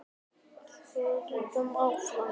Ertu búin að kynnast mörgum?